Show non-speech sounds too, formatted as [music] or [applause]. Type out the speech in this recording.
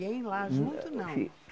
Lá junto não? [unintelligible]